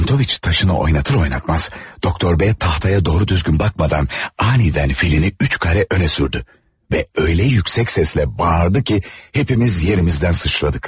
Çentoviç daşını oynadar-oynatmaz Doktor B taxtaya doğru-düzgün baxmadan anidən filini üç xana önə sürdü və elə yüksək səslə bağırdı ki, hamımız yerimizdən sıçradıq.